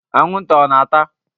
Anwụnta ọ na-ata?